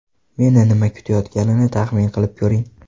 Meni nima kutayotganini taxmin qilib ko‘ring!